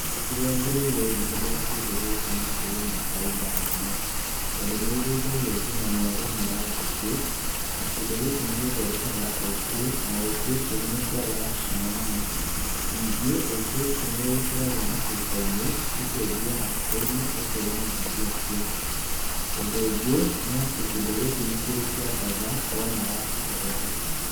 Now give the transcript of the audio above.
Kĩrĩa ngereire ngĩhũthĩra kĩndũ gĩkĩ nĩ atĩ ĩna bainda nene, tondũ nĩ irĩithagio ngina nĩ arĩmi a njũkĩ na kĩndũ gĩkĩ nĩ gĩthondekaga ũkĩ na ũkĩ ũcio nĩ ũkoragwo na cama mũno. Ningĩ ũkĩ ũcio nĩwĩkĩragwo macuba-inĩ ikendio matuka-inĩ ũkeyonera mbia caiku. Ũndũ ũngĩ nĩ atĩ kĩndũ gĩkĩ nĩ kĩrĩ kĩandatha wona wacicogotha.